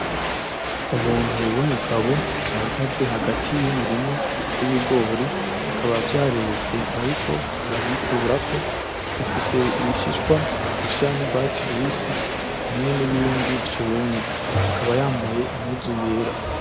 Umuntu w'umugabo ahagaze hagati y'umurima w'ibigori bikaba vyareze ariko arabikurako, bifise ibishishwa bisa n'urwatsi rubisi hamwe nibindi vyumye, akaba yambaye impuzu yera.